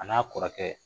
A n'a kɔrɔkɛ